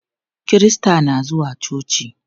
Kirista na zuwa coci.